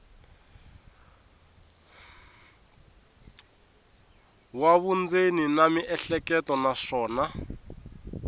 wa vundzeni na miehleketo naswona